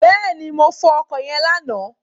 Bẹ́ẹ̀ni, mo fọ ọkọ̀ yẹn lánàá.